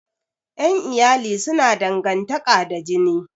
Ƴan iyali suna dangantaƙa da jini